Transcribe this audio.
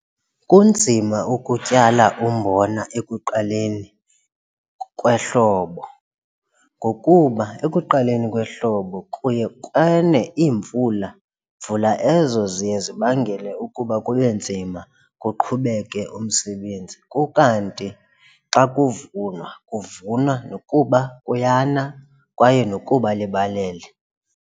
Kunzima ukutyala umbona ekuqaleni kwehlobo ngokuba ekuqaleni kwehlobo kuye kwane iimvula, vula ezo ziye zibangele ukuba kube nzima kuqhubeke umsebenzi ukanti xa kuvunwa kuvunwa nokuba kuyana kwaye nokuba libalele.